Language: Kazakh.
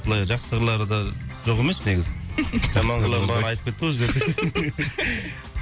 былай жақсы қырлары да жоқ емес негізі жаман қырларын бағана айтып кетті ғой өздері десең